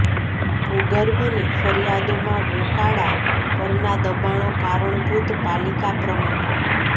ભુર્ગભની ફરીયાદોમાં વોકાળા પરના દબાણો કારણભુત ઃ પાલીકા પ્રમુખ